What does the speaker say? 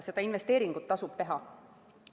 Seda investeeringut tasub teha.